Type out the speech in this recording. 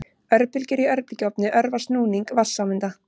Örbylgjur í örbylgjuofni örva snúning vatnssameinda.